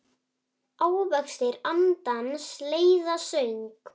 Ávextir andans leiða söng.